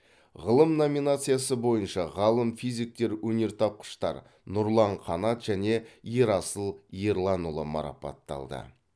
ғылым номинациясы бойынша ғалым физиктер өнертапқыштар нұрлан қанат және ерасыл ерланұлы марапатталды